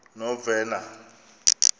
novena